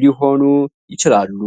ሊሆኑ ይችላሉ?